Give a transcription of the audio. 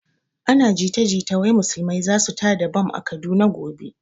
Ana jita jita wai musulmai zasu tada bam a kaduna gobe